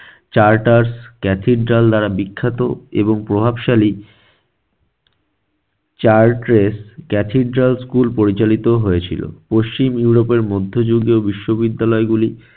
charter cathedral দ্বারা বিখ্যাত এবং প্রভাবশালী chartres cathedral school পরিচালিত হয়েছিল। পশ্চিম ইউরোপের মধ্যযুগীয় বিশ্ববিদ্যালয় গুলি